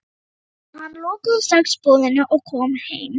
Tomma, hann lokaði strax búðinni og kom heim.